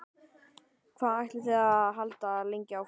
Hvað ætlið þið að halda lengi áfram?